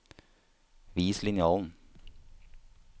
Vis linjalen